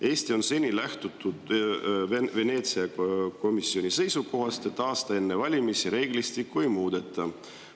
Eestis on seni lähtutud Veneetsia komisjoni seisukohast, et aasta enne valimisi reeglistikku ei muudeta.